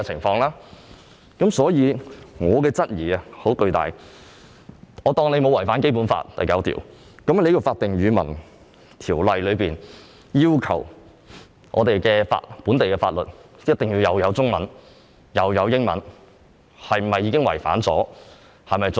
我姑且接納當局未有違反《基本法》第九條，但《法定語文條例》要求本地法律必須具備中文和英文本，是次做法是否已違反此項規定？